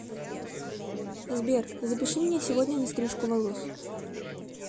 сбер запиши меня сегодня на стрижку волос